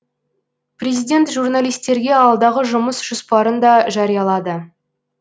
президент журналистерге алдағы жұмыс жоспарын да жариялады